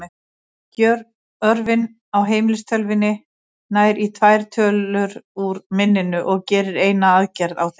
Örgjörvinn í heimilistölvunni nær í tvær tölur úr minninu og gerir eina aðgerð á þeim.